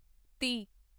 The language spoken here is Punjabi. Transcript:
ਤੀਹ